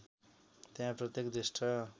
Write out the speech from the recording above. त्यहाँ प्रत्येक ज्येष्ठ